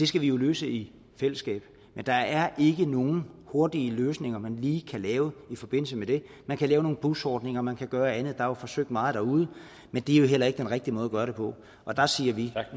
skal vi jo løse i fællesskab men der er ikke nogen hurtige løsninger man lige kan lave i forbindelse med det man kan lave nogle busordninger man kan gøre andet der er jo forsøgt meget derude men det er jo heller ikke den rigtige måde at gøre det på og der siger vi